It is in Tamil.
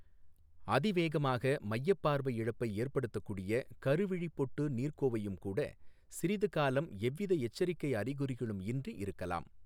அதிவேகமாக மையப் பார்வை இழப்பை ஏற்படுத்தக்கூடிய கருவிழிப் பொட்டு நீர்க்கோர்வையும் கூட சிறிது காலம் எவ்வித எச்சரிக்கை அறிகுறிகளும் இன்றி இருக்கலாம்.